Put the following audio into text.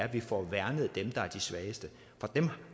vi får værnet dem der er de svageste